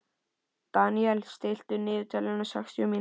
Daniel, stilltu niðurteljara á sextíu mínútur.